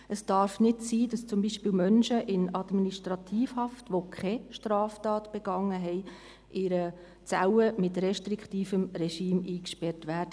Es darf nicht sein, dass beispielsweise Menschen in Administrativhaft, die keine Straftat begangen haben, in einer Zelle mit restriktivem Regime eingesperrt werden.